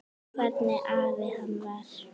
Hvernig afi hann var.